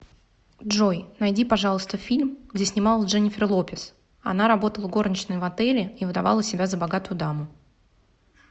джой найди пожалуйста фильм где снималась дженефер лопес она работала горничной в отеле и выдавала себя за богатую даму